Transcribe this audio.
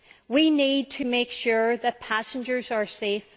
We need to make sure that passengers are safe.